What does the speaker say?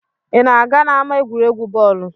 ị na-aga n'ama egwuregwu bọọlụ?